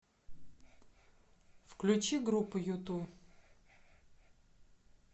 включи группу юту